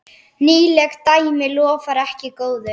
Nýleg dæmi lofa ekki góðu.